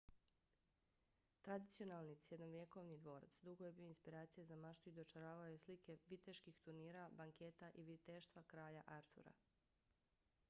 tradicionalni srednjovjekovni dvorac dugo je bio inspiracija za maštu i dočaravao je slike viteških turnira banketa i viteštva kralja artura